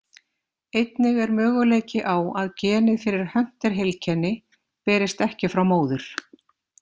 Einnig er möguleiki á að genið fyrir Hunter-heilkenni berist ekki frá móður.